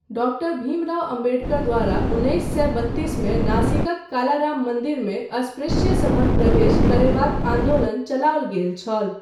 Doctor Bhimrao Ambedkar द्वारा उन्नैस सए बत्तीसमे नाशिकक कालाराम मन्दिरमे अस्पृश्यसभक प्रवेश करयबाक आन्दोलन चलाओल गेल छल।